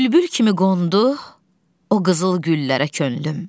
Bülbül kimi qondu o qızıl güllərə könlüm.